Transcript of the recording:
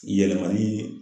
Yɛlɛmali